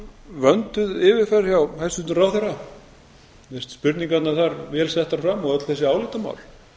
vönduð yfirferð hjá hæstvirtum ráðherra mér finnst spurningarnar þar vel settar fram og öll þessi álitamál